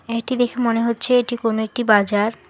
এইটি দেখে মনে হচ্ছে এটি কোন একটি বাজার।